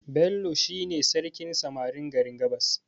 Bello shi ne sarkin samarin garin gabas